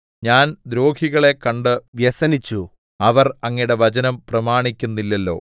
ഞാൻ ദ്രോഹികളെ കണ്ട് വ്യസനിച്ചു അവർ അങ്ങയുടെ വചനം പ്രമാണിക്കുന്നില്ലല്ലോ